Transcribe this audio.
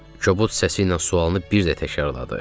Kobud səsi ilə sualını bir də təkrarladı.